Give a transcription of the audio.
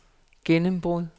gennembrud